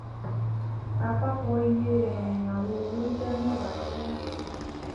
àpapọ iye um àwọn owo jẹ mẹwàá jẹ mẹwàá